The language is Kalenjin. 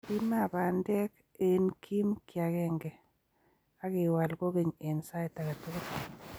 imaa bandek eng' kiim kiagenge, ak iwal kogeny eng' sait age tugul.